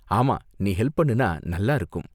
ஆமா, நீ ஹெல்ப் பண்ணுனா நல்லா இருக்கும்.